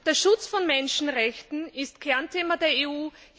Der Schutz der Menschenrechte ist Kernthema der EU.